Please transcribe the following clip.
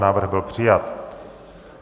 Návrh byl přijat.